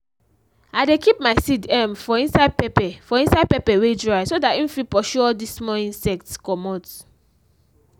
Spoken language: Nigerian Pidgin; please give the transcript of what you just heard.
i dey keep my seed um for inside pepper for inside pepper wey dry so that im fit pursue all dis small insects comot.